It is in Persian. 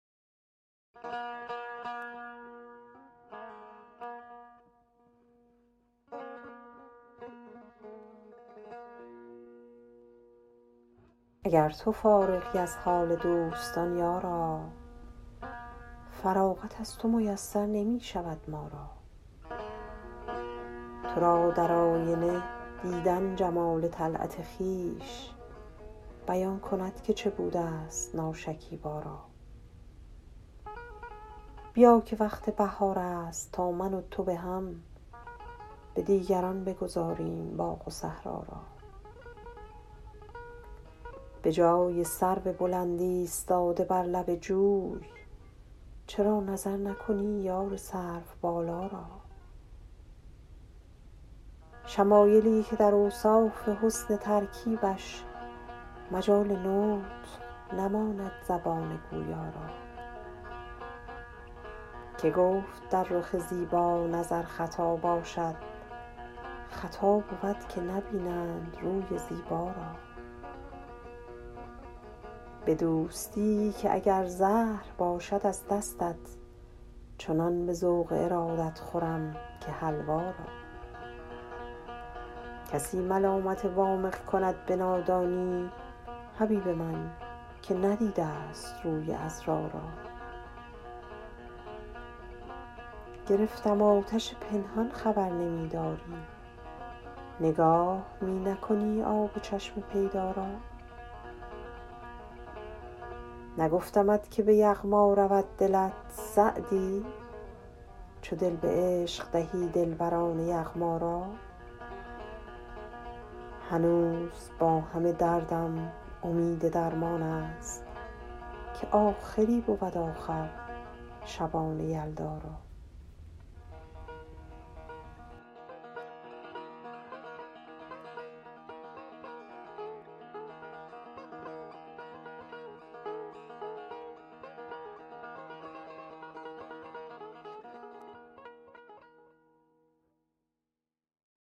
اگر تو فارغی از حال دوستان یارا فراغت از تو میسر نمی شود ما را تو را در آینه دیدن جمال طلعت خویش بیان کند که چه بوده ست ناشکیبا را بیا که وقت بهار است تا من و تو به هم به دیگران بگذاریم باغ و صحرا را به جای سرو بلند ایستاده بر لب جوی چرا نظر نکنی یار سروبالا را شمایلی که در اوصاف حسن ترکیبش مجال نطق نماند زبان گویا را که گفت در رخ زیبا نظر خطا باشد خطا بود که نبینند روی زیبا را به دوستی که اگر زهر باشد از دستت چنان به ذوق ارادت خورم که حلوا را کسی ملامت وامق کند به نادانی حبیب من که ندیده ست روی عذرا را گرفتم آتش پنهان خبر نمی داری نگاه می نکنی آب چشم پیدا را نگفتمت که به یغما رود دلت سعدی چو دل به عشق دهی دلبران یغما را هنوز با همه دردم امید درمان است که آخری بود آخر شبان یلدا را